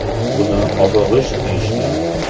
Buni obi g‘isht deyishgan.